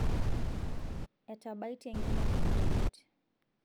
etabaitie nkineji oreyiet